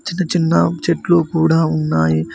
చిన్న చిన్న చెట్లు కూడా ఉన్నాయి.